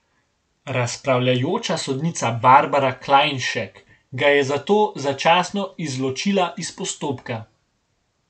Razpravljajoča sodnica Barbara Klajnšek ga je zato začasno izločila iz postopka.